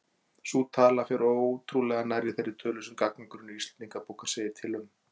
Sú tala fer ótrúlega nærri þeirri tölu sem gagnagrunnur Íslendingabókar segir til um.